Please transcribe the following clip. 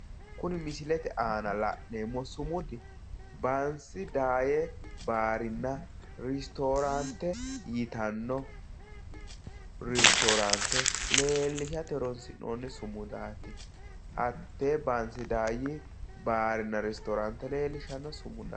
Kuni misilete aana la'neemmo sumudi bansi daayye baarinna ristooraante yitanno ristooraante leellishate horoonsi'nonni sumudaati. Hattee bansa daayye baarinna restooraante leellishanno sumudaati.